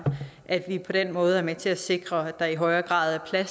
at vi på den måde er med til at sikre at der i højere grad er